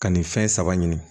Ka nin fɛn saba ɲini